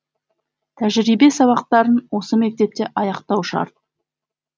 тәжірибе сабақтарын осы мектепте аяқтау шарт